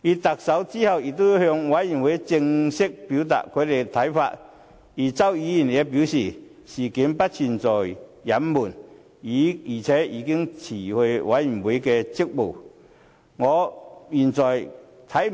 特首之後已向專責委員會正式表達他的看法，而周議員也表示事件不存在隱瞞，而且他已經辭去專責委員會的職務。